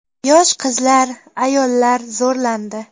Yosh qizlar, ayollar zo‘rlandi.